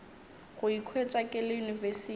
go ikhwetša ke le university